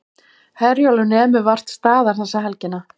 Herjólfur nemur vart staðar þessa helgina